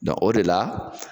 o de la